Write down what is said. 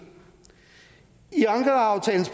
i ankaraaftalens